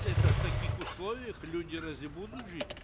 это в таких условиях люди разве будут жить